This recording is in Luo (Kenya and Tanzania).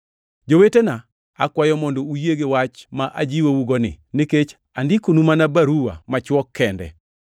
Jowetena, akwayou mondo uyie gi wach ma ajiwougoni nikech andikonu mana baruwa machwok kende.